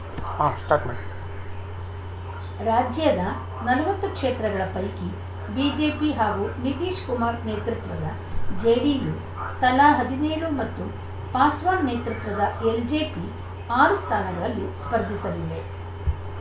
ಆ ಸ್ಟಾರ್ಟ್ ಮಾಡಿ ರಾಜ್ಯದ ನಲವತ್ತು ಕ್ಷೇತ್ರಗಳ ಪೈಕಿ ಬಿಜೆಪಿ ಹಾಗೂ ನಿತೀಶ್‌ ಕುಮಾರ್‌ ನೇತೃತ್ವದ ಜೆಡಿಯು ತಲಾ ಹದಿನೇಳು ಮತ್ತು ಪಾಸ್ವಾನ್‌ ನೇತೃತ್ವದ ಎಲ್‌ಜೆಪಿ ಆರು ಸ್ಥಾನಗಳಲ್ಲಿ ಸ್ಪರ್ಧಿಸಲಿವೆ